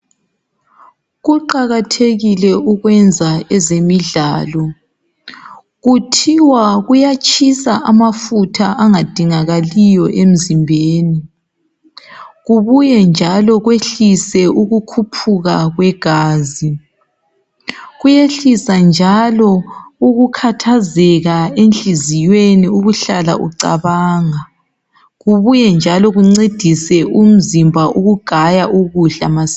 Kuqakathekile ukwenza ezemidlalo kuthiwa kuyatshisa amafutha angadingakaliyo emzimbeni. Kubuye njalo kwehlise ukukhuphuka kwegazi, kuyehlisa njalo ukukhathazeka enhliziweni ukuhlala ucabanga. Kubuye njalo kuncedise umzimba ukugaya ukudla masinya.